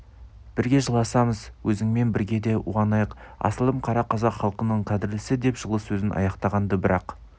бірге жыласамыз өзіңмен бірге де уанайық асылым қара қазақ халқының қадірлісі деп жылы сөзін аяқтаған-ды бірақ